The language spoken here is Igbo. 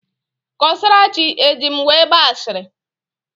Kọsarachi eji m wee gbaa ashịrị?